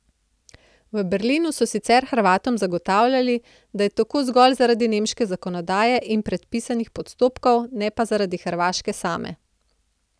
V Berlinu so sicer Hrvatom zagotavljali, da je tako zgolj zaradi nemške zakonodaje in predpisanih postopkov, ne pa zaradi Hrvaške same.